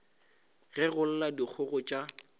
ge go lla dikgogo tša